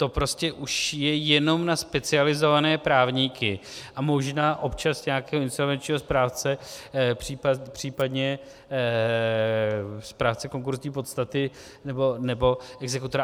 To prostě už je jenom na specializované právníky a možná občas nějakého insolvenčního správce, případně správce konkurzní podstaty nebo exekutora.